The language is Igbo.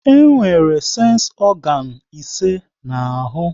E nwere sensi ọganu ise n'ahụ